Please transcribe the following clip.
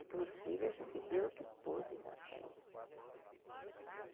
E para os filhos a gente deu o que pôde dar para eles.